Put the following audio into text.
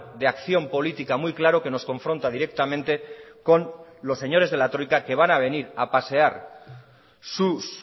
de acción política muy claro que nos confronta directamente con los señores de la troika que van a venir a pasear sus